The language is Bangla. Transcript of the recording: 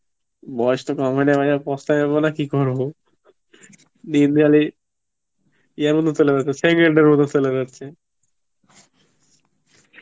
বয়েস তো কম হয়েনি ভাইয়া পস্তাই বো না তো কি করবো, দিন খালি, যিয়া র মত চলে যাচ্ছে. second এর মধ্যে চলে যাচ্ছে